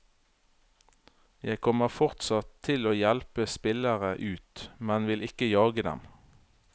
Jeg kommer fortsatt til å hjelpe spillere ut, men vil ikke jage dem.